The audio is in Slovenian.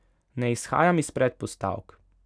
Ne izhajam iz predpostavk.